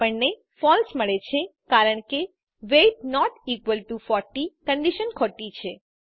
આપણને ફળસે મળે છે કારણ કે weight not equal to 40 condition ખોટી છે